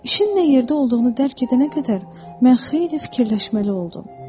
İşin nə yerdə olduğunu dərk edənə qədər mən xeyli fikirləşməli oldum.